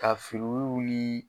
Ka